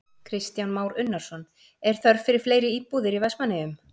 Kristján Már Unnarsson: Er þörf fyrir fleiri íbúðir í Vestmannaeyjum?